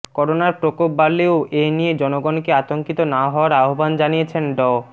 করোনার প্রকোপ বাড়লেও এ নিয়ে জনগণকে আতঙ্কিত না হওয়ার আহ্বান জানিয়েছেন ড